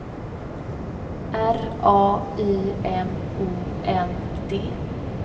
R A Y M O N D